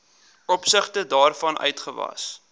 opsigte waarvan uitgawes